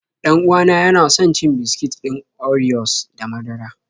Dan uwa na yana son cin biskit ɗin oriyos da madara.